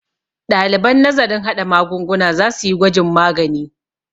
ɗaliban nazarin haɗa magungunan za su yi gwajin magani